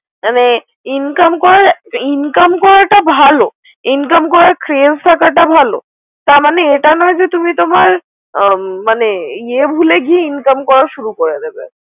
মানে Income করাটা ভালো Income করার Trains থাকাটা ভালো তারমানে এটা নয় তুমি তোমার ইয়ে ভুলে গিয়ে Income শুরু করে দেবে।